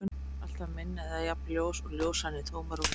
Þessi hraði er alltaf minni en eða jafn og ljóshraðinn í tómarúmi.